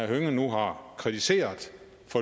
hønge nu har kritiseret